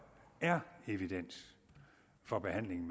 er evidens for behandling